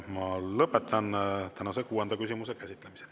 Ma lõpetan tänase kuuenda küsimuse käsitlemise.